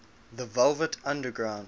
the velvet underground